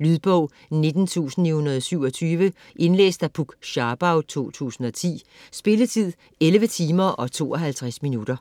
Lydbog 19927 Indlæst af Puk Scharbau, 2010. Spilletid: 11 timer, 52 minutter.